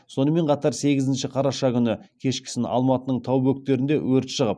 сонымен қатар сегізінші қараша күні кешкісін алматының тау бөктерінде өрт шығып